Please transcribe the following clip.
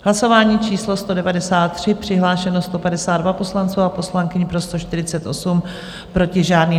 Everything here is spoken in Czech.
Hlasování číslo 193, přihlášeno 152 poslanců a poslankyň, pro 148, proti žádný.